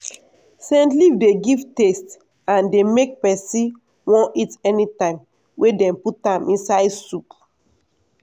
scent leaf dey give taste and dey make person wan eat anytime wey dem put am inside soup.